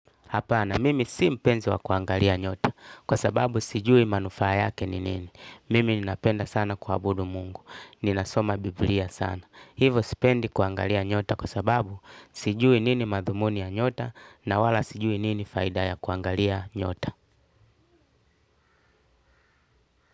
Hapana, mimi si mpenzi wa kuangalia nyota, kwa sababu sijui manufaa yake ni nini. Mimi ninapenda sana kuabudu mungu, ninasoma bibilia sana. Hivo sipendi kuangalia nyota kwa sababu sijui nini madhumuni ya nyota na wala sijui nini faida ya kuangalia nyota.